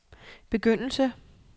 begyndelse